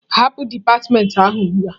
Hapụ dipatịmentị ahụ ugbu a!